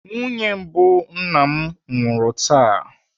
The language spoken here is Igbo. Nwunye mbụ nna m nwụrụ taa.